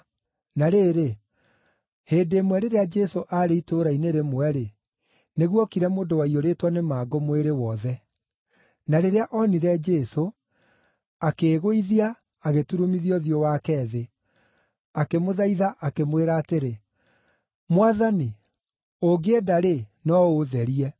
Na rĩrĩ, hĩndĩ ĩmwe rĩrĩa Jesũ aarĩ itũũra-inĩ rĩmwe-rĩ, nĩguokire mũndũ waiyũrĩtwo nĩ mangũ mwĩrĩ wothe. Na rĩrĩa onire Jesũ, akĩĩgũithia, agĩturumithia ũthiũ wake thĩ, akĩmũthaitha, akĩmwĩra atĩrĩ, “Mwathani, ũngĩenda-rĩ, no ũũtherie.”